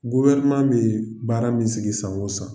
a bɛ baara min sigi san o san